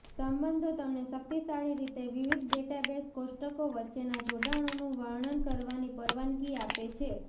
સંબંધો તમને શક્તિશાળી રીતે વિવિધ ડેટાબેઝ કોષ્ટકો વચ્ચેનાં જોડાણોનું વર્ણન કરવાની પરવાનગી આપે છે